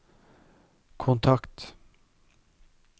kontakt